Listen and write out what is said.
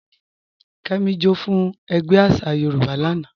Kẹ́mí, jọ́ fún ègbé àṣà Yorùbá lána.